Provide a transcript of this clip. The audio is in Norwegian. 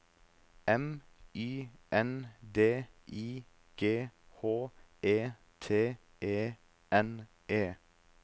M Y N D I G H E T E N E